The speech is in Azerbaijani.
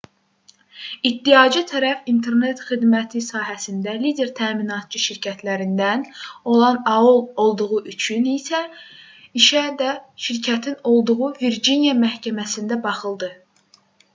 i̇ddiaçı tərəf internet xidməti sahəsində lider təminatçı şirkətlərindən olan aol olduğu üçün işə də şirkətin olduğu virciniya məhkəməsində baxıldı